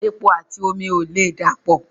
Epo àti omi ò lè dà pọ̀